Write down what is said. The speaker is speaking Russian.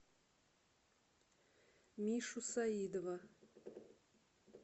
мишу саидова